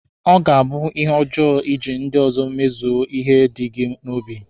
Ọ ga-abụ ihe ọjọọ iji ndị ọzọ emezu ihe dị gị n'obi.